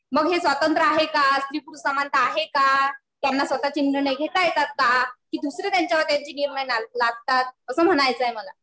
मग हे स्वातंत्र्य आहे का? स्त्री पुरुष समानता आहे का? त्यांना स्वतःचे निर्णय घेता येतात का? कि दुसरे त्यांच्यावे त्यांचे निर्णय लादतात. असं म्हणायचंय मला.